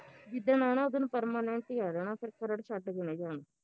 ਜਿਦਣ ਆਉਣਾ ਉਦਣ permanent ਈ ਆ ਜਣਾ ਫਿਰ ਖਰੜ ਛੱਡ ਕੇ ਨੀ ਜਾਣਾ